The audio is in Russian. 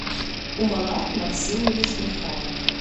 умалат максимович михайлов